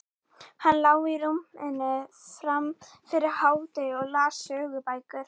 Hann lá í rúminu fram yfir hádegi og las sögubækur.